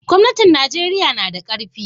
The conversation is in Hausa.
gwamnatin Najeriya tanada karfi